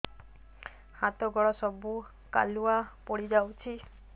ହାତ ଗୋଡ ସବୁ କାଲୁଆ ପଡି ଯାଉଛି